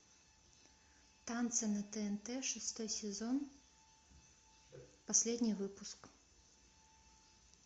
танцы на тнт шестой сезон последний выпуск